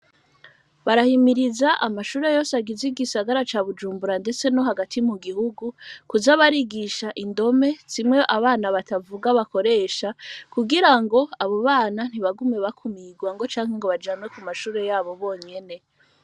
Barahimiriza amashure yose, agize igisagara ca Bijumbura, ndetse no hagati mu gihugu, kuza barigisha indome, zimwe abana batavuga, bakoresha; kugira ngo, abo bana, ntibagume bakumirwa, ngo canke, ngo bajanwe ku mashure yabo, bonyene.